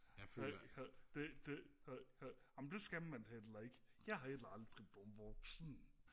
amen det skal man heller ikke jeg er heller aldrig blevet voksen